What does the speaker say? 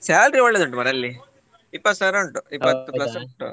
Salary ಒಳ್ಳೇದು ಉಂಟು ಮಾರ್ರೆ ಅಲ್ಲಿ ಇಪ್ಪತ್ತು ಸಾವಿರ ಉಂಟು ಇಪ್ಪತ್ತು ಸಾವಿರ ಹೌದು